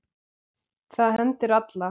Það hendir alla